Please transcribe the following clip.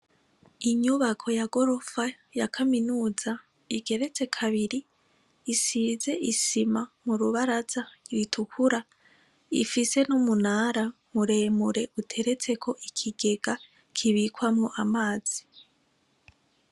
Inyubako ya gorofa ya kaminuza isize isima mu rubaraza ritukura, ifise n'umunara muremure uteretseko ikigega kibikwamwo amazi.